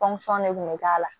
de kun bɛ k'a la